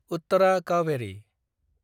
उत्तारा काउभेरि